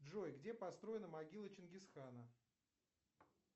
джой где построена могила чингизхана